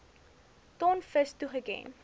ton vis toegeken